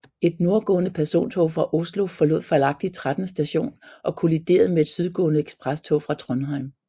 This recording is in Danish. Et nordgående persontog fra Oslo forlod fejlagtigt Tretten Station og kolliderede med et sydgående eksprestog fra Trondheim